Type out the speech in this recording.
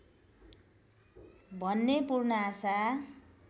भन्ने पूर्ण आशा